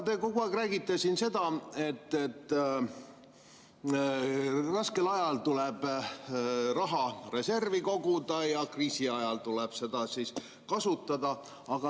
Te kogu aeg räägite siin seda, et raskel ajal tuleb raha reservi koguda ja kriisi ajal tuleb seda kasutada.